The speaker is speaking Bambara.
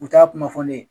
U t'a kuma fɔ ne ye